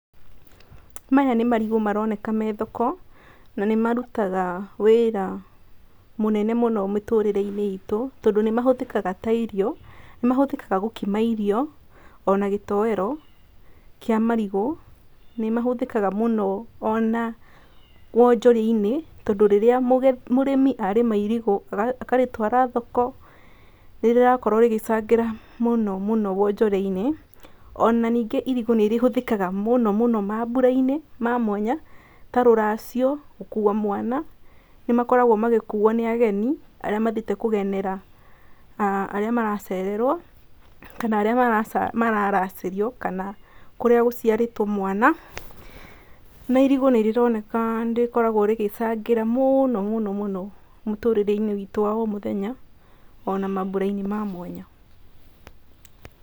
Maya nĩ marigũ maroneka me thoko, na nĩ marutaga wĩra mũnene mũno mũtũrĩreinĩ itũ tondũ nĩ mahũthĩkaga ta irio, nĩ mahũthĩkaga gũkima irio ona gĩtoero kĩa marigũ, nĩ mahũthĩkaga mũno ona wonjorĩa-inĩ, tondũ rĩrĩa mũrĩmi arĩma irigũ akarĩtwara thoko nĩ rĩrakorwo rĩgĩcangĩra mũno mũno wonjorĩa-inĩ, ona ningĩ irigũ nĩrĩ hũthĩkaga mũno mũno maburainĩ ma mwanya ta rũracio, gũkua mwana, nĩ magĩkoragwa magĩkuo nĩ ageni arĩa mathiĩte kũgenera arĩa maracererwo kana arĩa mararacĩrio kana kũrĩa gũciarĩtwo mwana, na irigũ nĩrĩroneka nĩrikoragwa rĩgĩcangĩra mũno mũno mũtũrĩreinĩ witũ wa o mũthenya ona maburainĩ ma mwanya.